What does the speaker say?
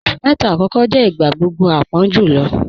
Oṣù mẹta akọkọ jẹ̀ igbagbogbo àpọ̀n julọ